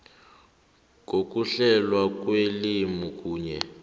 ngokuhlelwa kwelimi kunye